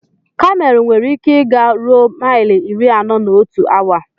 Kamel nwere ike ị ga ruo maili iri anọ na otu awa.